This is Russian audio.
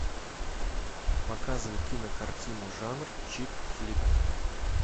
показывай кинокартину жанр чик флик